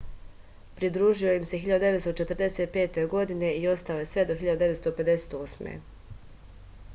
pridružio im se 1945. i ostao je sve do 1958